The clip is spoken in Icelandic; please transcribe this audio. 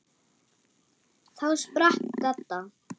Þá sprakk Dadda.